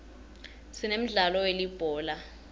sinemdlalo welibhola